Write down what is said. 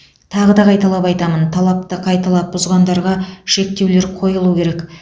тағы да қайталап айтамын талапты қайталап бұзғандарға шектеулер қойылу керек